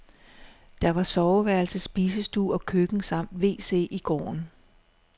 Der var soveværelse, spisestue og køkken samt wc i gården.